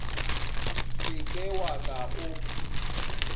se ke wa ka o